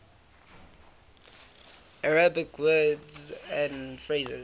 arabic words and phrases